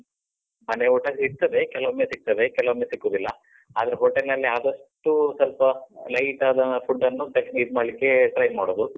ಮನೆ ಊಟ ಸಿಗ್ತದೆ. ಕೆಲವೊಮ್ಮೆ ಸಿಗ್ತದೆ, ಕೆಲವೊಮ್ಮೆ ಸಿಕ್ಕುವುದಿಲ್ಲ. ಆದ್ರೆ hotel ನಲ್ಲಿ ಆದಷ್ಟೂ ಸ್ವಲ್ಪ light ಆದ food ಅನ್ನು ಜಾಸ್ತಿ ಇದ್ ಮಾಡ್ಲಿಕ್ಕೆ try ಮಾಡುದು.